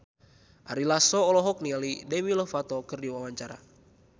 Ari Lasso olohok ningali Demi Lovato keur diwawancara